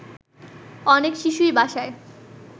অনেক শিশুই বাসায়